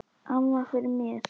Amma fyrir mér.